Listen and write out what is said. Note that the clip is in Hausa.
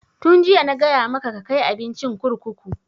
Tun jiya na gaya maka ka kai abincin kurkuku!